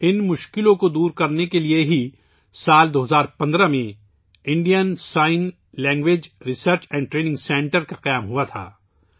ان مشکلات کو دور کرنے کے لئے ہی سال 2015 ء میں Indian sign language research and training centre قائم کیا گیا تھا